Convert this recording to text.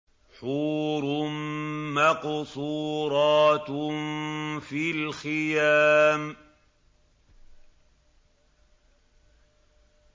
حُورٌ مَّقْصُورَاتٌ فِي الْخِيَامِ